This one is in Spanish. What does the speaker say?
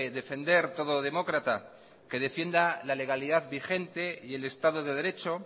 defender todo demócrata que defienda la legalidad vigente y el estado de derecho